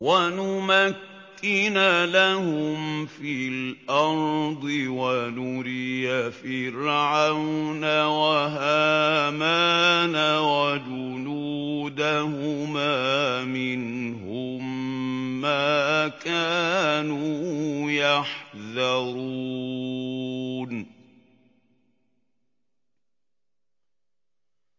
وَنُمَكِّنَ لَهُمْ فِي الْأَرْضِ وَنُرِيَ فِرْعَوْنَ وَهَامَانَ وَجُنُودَهُمَا مِنْهُم مَّا كَانُوا يَحْذَرُونَ